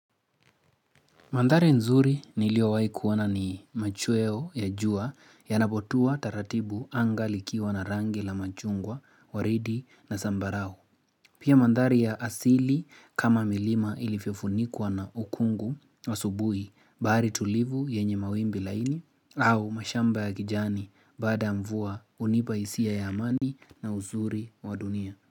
Mandhari nzuri niliowai kuona ni machuweo ya jua ya napotua taratibu anga likiwa na rangi la machungwa, waridi na sambarau. Pia mandhari ya asili kama milima ilifofunikwa na ukungu wa asubui baari tulivu yenye mawimbi laini au mashamba ya kijani bada mvua unipaisia ya amani na uzuri wa dunia.